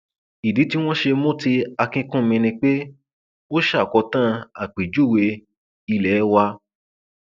ìdí tí wọn ṣe mú ti akínkùnmí ni pé ó ṣàkótán àpèjúwe ilé wa